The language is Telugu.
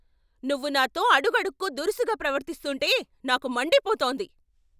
నువ్వు నాతో అడుగడుక్కు దురుసుగా ప్రవర్తిస్తుంటే నాకు మండిపోతోంది.